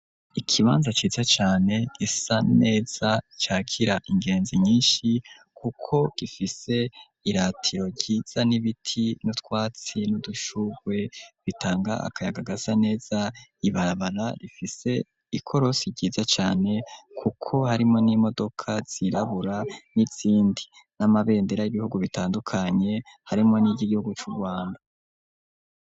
Ikibanza ciza cane, gisa neza cakira ingenzi nyinshi ,kuko gifise iratiro ryiza n'ibiti, n'utwatsi ,n'udushugwe bitanga akayaga gasa neza ,ibarabara rifise ikorosi ryiza cane, kuko harimwo n'imodoka zirabura, n'izindi ,n'amabendera y'ibihugu bitandukanye ,harimwo n'iryigihugu c'urwanda.